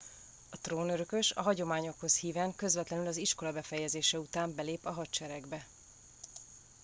a trónörökös a hagyományokhoz híven közvetlenül az iskola befejezése után belép a hadseregbe